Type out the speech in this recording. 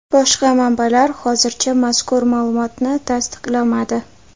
Boshqa manbalar hozircha mazkur ma’lumotni tasdiqlamadi.